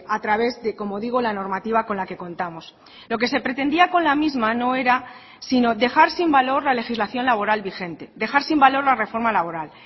a través de como digo la normativa con la que contamos lo que se pretendía con la misma no era sino dejar sin valor la legislación laboral vigente dejar sin valor la reforma laboral